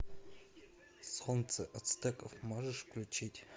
солнце ацтеков можешь включить